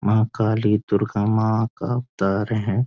माँ काली दुर्गा माँ का अवतार है|